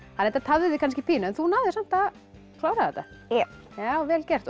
þetta tafði þig kannski pínu en þú náðir samt að klára þetta já vel gert og